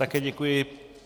Také děkuji.